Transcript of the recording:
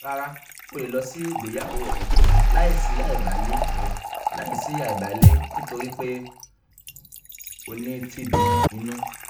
rárá o le lọ si igbeyawo rẹ laisi aibalẹ rẹ laisi aibalẹ nitori pe o ni tb inu